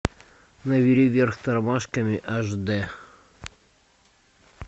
набери вверх тормашками аш дэ